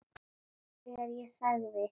Þegar ég sagði